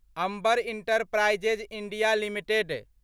Amber Enterprises India limited